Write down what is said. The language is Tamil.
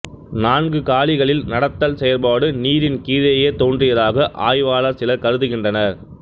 நான்குகாலிகளில் நடத்தல் செயற்பாடு நீரின் கீழேயே தோன்றியதாக ஆய்வாளர் சிலர் கருதுகின்றனர்